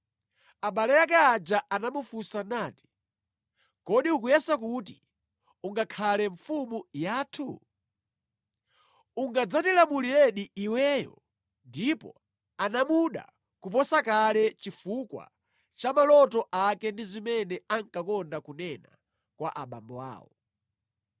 Abale ake aja anamufunsa nati, “Kodi ukuyesa kuti ungakhale mfumu yathu? Ungadzatilamuliredi iweyo?” Ndipo anamuda kuposa kale chifukwa cha maloto ake ndi zimene ankakonda kunena kwa abambo awo.